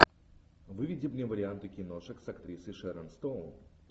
выведи мне варианты киношек с актрисой шерон стоун